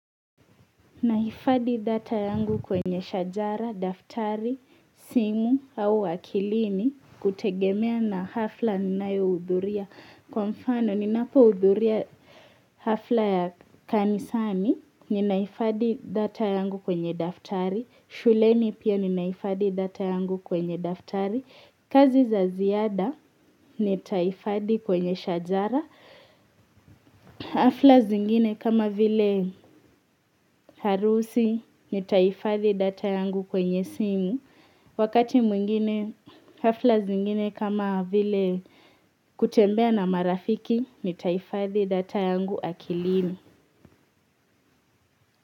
Nahifadhi data yangu kwenye shajara daftari simu au akilini kutengemea na hafla ninayohudhuria. Kwa mfano, ninapo hudhuria hafla ya kanisani, ninahifadhi data yangu kwenye daftari. Shuleni pia ninahifadhi data yangu kwenye daftari. Kazi za ziada, nitahifadhi kwenye shajara. Hafla zingine kama vile harusi ni tahifadhi data yangu kwenye simu. Wakati mwingine hafla zingine kama vile kutembea na marafiki ni tahifadhi data yangu akilini.